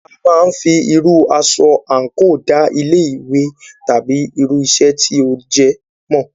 A máà ń fí irú aṣọ àńkò da ilé ìwé tàbí irú iṣẹ́ tí o jẹ́ mọ̀.